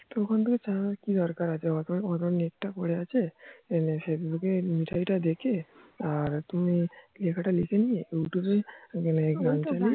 ওখান থেকে চালানোর কি দরকার আছে এতো net তা পরে আছে facebook এ মিঠাই টা দেখে আর তুমি লেখা তা লিখে নিয়ে youtube এ